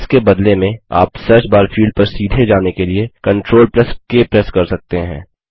इसके बदले में आप सर्चबार फील्ड पर सीधे जाने के लिए CTRLK प्रेस कर सकते हैं